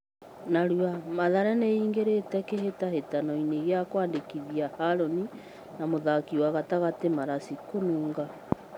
(Narua) Mathare nĩ ĩ ingĩ rĩ te kĩ hĩ tahĩ tanoinĩ gĩ a kwandĩ kithia Harũni na mũthaki wa gatagatĩ Maraci Kununga.